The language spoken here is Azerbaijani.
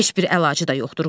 Heç bir əlacı da yoxdur.